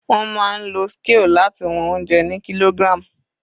Wọ́n máa ń lo scale láti wọn oúnjẹ ni kilogram.